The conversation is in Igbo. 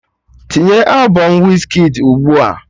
Tinye albọm Wizkid's ugbua!